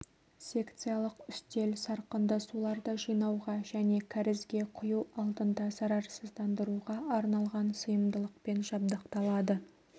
секциялық үстел сарқынды суларды жинауға және кәрізге құю алдында зарарсыздандыруға арналған сыйымдылықпен жабдықталады